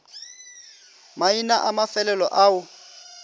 maina a mafelo ao a